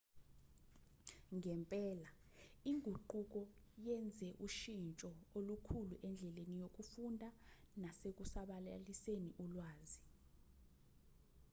ngempela inguquko yenze ushintsho olukhulu endleni yokufunda nasekusabalaliseni ulwazi